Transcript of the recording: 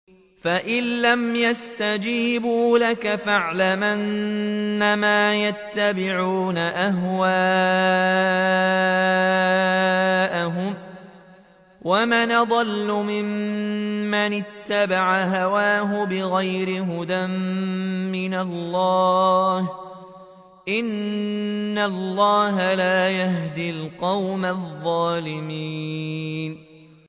فَإِن لَّمْ يَسْتَجِيبُوا لَكَ فَاعْلَمْ أَنَّمَا يَتَّبِعُونَ أَهْوَاءَهُمْ ۚ وَمَنْ أَضَلُّ مِمَّنِ اتَّبَعَ هَوَاهُ بِغَيْرِ هُدًى مِّنَ اللَّهِ ۚ إِنَّ اللَّهَ لَا يَهْدِي الْقَوْمَ الظَّالِمِينَ